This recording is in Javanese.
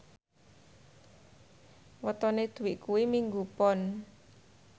wetone Dwi kuwi Minggu Pon